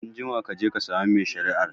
Anjima kaje ka samu mai shari'ar